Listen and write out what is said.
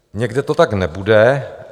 Někde to tak nebude.